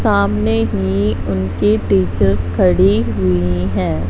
सामने ही उनकी टीचर्स खड़ी हुई हैं।